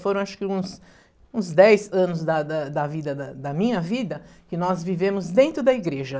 Foram acho que uns uns dez anos da da da vida da da minha vida que nós vivemos dentro da igreja.